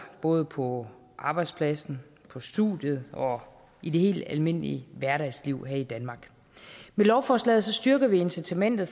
både på arbejdspladsen på studiet og i det helt almindelige hverdagsliv her i danmark med lovforslaget styrker vi incitamentet